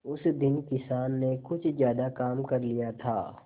उस दिन किसान ने कुछ ज्यादा काम कर लिया था